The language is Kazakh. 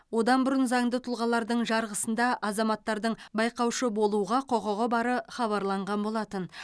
одан бұрын заңды тұлғалардың жарғысында азаматтардың байқаушы болуға құқығы бары хабарланған болатын